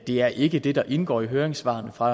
det er ikke det der indgår i høringssvarene fra